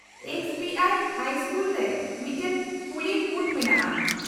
-X B I high school ᱨᱮ ᱢᱤᱫᱴᱟᱝ ᱯᱩᱞᱤᱝ ᱵᱷᱩᱛᱷ ᱢᱮᱱᱟᱜᱼᱟ ᱾